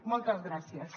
moltes gràcies